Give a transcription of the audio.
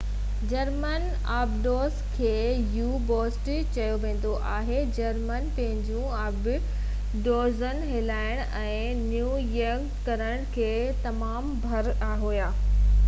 German آبدوز کي U boats چيو ويندو هو جرمن پنهنجيون آبدوزون هلائڻ ۽ نيويگيٽ ڪرڻ ۾ تمام ڀَڙ هئا